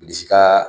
Bilisi ka